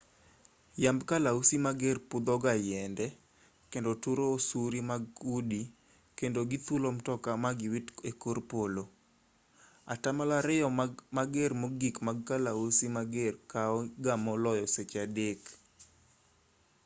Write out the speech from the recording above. yamb kalausi mager pudho ga yiende kendo turo osuri mag udi kendo githulo mtoka ma giwit e kor polo atamalo ariyo mager mogik mag kalausi mager kao ga maloyo seche adek